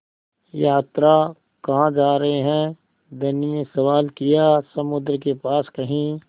यात्रा कहाँ जा रहे हैं धनी ने सवाल किया समुद्र के पास कहीं